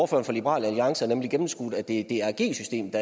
for liberal alliance har nemlig gennemskuet at det er drg systemet